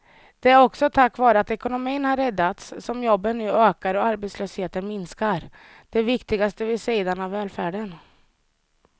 Det är också tack vare att ekonomin har räddats som jobben nu ökar och arbetslösheten minskar, det viktigaste vid sidan av välfärden.